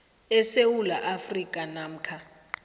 esewula afrika namkha